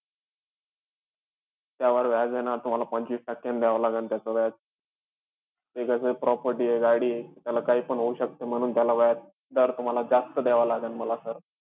त्यावर व्याज है ना, तुम्हाला पंचवीस टक्क्यांनी द्यावं लागेन त्याचं व्याज. ते कसंय property आहे, ही गाडी आहे. त्याला काहीपण होऊ शकतं म्हणून, त्याला व्याजदर तुम्हाला जास्त द्यावं लागेल मला sir.